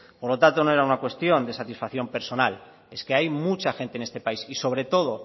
por lo tanto no era una cuestión de satisfacción personal es que hay mucha gente en este país y sobre todo